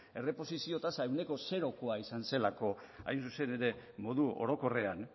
erreposizio tasa ehuneko zerokoa izan zelako hain zuzen ere modu orokorrean